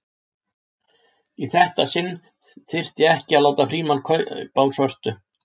Í þetta sinn þyrfti ekki að láta Frímann kaupa á svörtu.